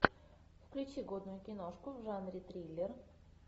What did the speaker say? включи годную киношку в жанре триллер